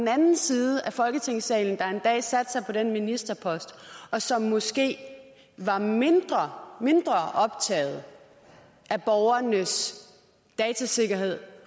den anden side af folketingssalen der en dag satte sig på den ministerpost og som måske var mindre optaget af borgernes datasikkerhed